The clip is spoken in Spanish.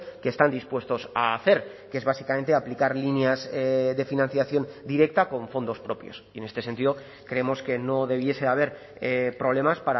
que están dispuestos a hacer que es básicamente aplicar líneas de financiación directa con fondos propios y en este sentido creemos que no debiese de haber problemas